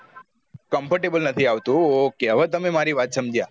comfortable નાથી આવતું okay હવે તમે મારી વાત સમજ્યા